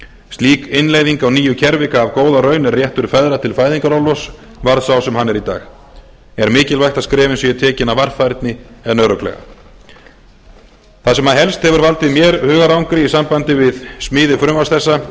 slík innleiðing á nýju kerfi gaf góða raun er réttur feðra til fæðingarorlofs varð sá sem hann er í dag er mikilvægt að skrefin séu tekin af varfærni en örugglega það sem helst hefur valdið mér hugarangri í sambandi við smíði frumvarps þessa